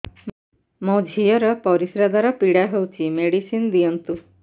ମୋ ଝିଅ ର ପରିସ୍ରା ଦ୍ଵାର ପୀଡା ହଉଚି ମେଡିସିନ ଦିଅନ୍ତୁ